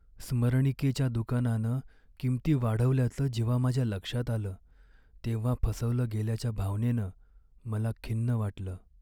स्मरणिकेच्या दुकानानं किंमती वाढवल्याचं जेव्हा माझ्या लक्षात आलं तेव्हा फसवलं गेल्याच्या भावनेनं मला खिन्न वाटलं.